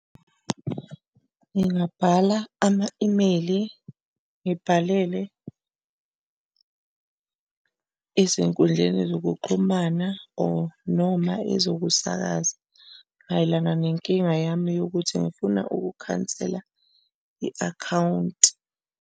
Ngingabhala ama-imeyili, ngibhalele ezinkundleni zokuxhumana or noma ezokusakaza mayelana nenkinga yami yokuthi ngifuna ukukhansela i-akhawunti.